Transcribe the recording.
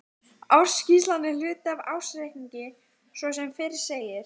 Gunnar Atli: Og rigning í Heimaey eða?